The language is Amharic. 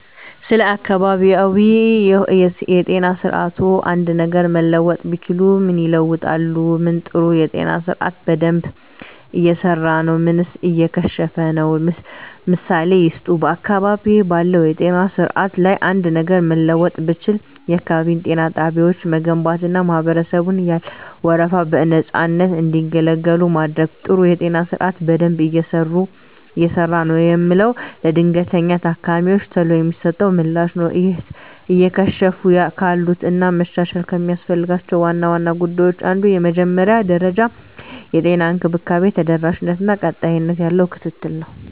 ስለ አካባቢያዊ የጤና ስርዓትዎ አንድ ነገር መለወጥ ቢችሉ ምን ይለውጣሉ? ምን ጥሩ የጤና ስርአት በደንብ እየሰራ ነው ምንስ እየከሸፈ ነው? ምሳሌ ይስጡ። *በአካባቢዬ ባለው የጤና ስርዓት ላይ አንድ ነገር ለመለወጥ ብችል፣ *የአካባቢ ጤና ጣቢያዎችን መገንባትና ማህበረሰቡን ያለ ወረፋ በነፃነት እንዲገለገሉ ማድረግ። *ጥሩ የጤና ስርዓት በደንብ እየሰራ ነው የምለው፦ ለድንገተኛ ታካሚወች ቶሎ የሚሰጠው ምላሽ ነው። *እየከሸፉ ካሉት እና መሻሻል ከሚያስፈልጋቸው ዋና ዋና ጉዳዮች አንዱ የመጀመሪያ ደረጃ የጤና እንክብካቤ ተደራሽነት እና ቀጣይነት ያለው ክትትል ነው።